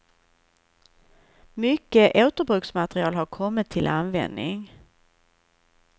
Mycket återbruksmaterial har kommit till användning.